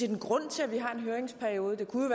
en grund til at vi har en høringsperiode det kunne